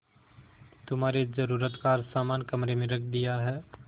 तुम्हारे जरूरत का हर समान कमरे में रख दिया है